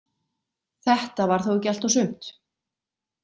Þetta var þó ekki allt og sumt.